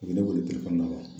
U ye ne weele